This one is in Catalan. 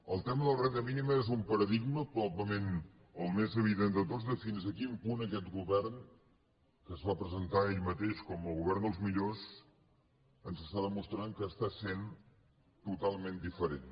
el tema de la renda mínima és un paradigma probablement el més evident de tots de fins a quin punt aquest govern que es va presentar ell mateix com el govern dels millors ens està demostrant que està sent totalment diferent